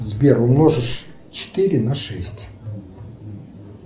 сбер умножить четыре на шесть